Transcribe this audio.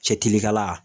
Cɛ kirikala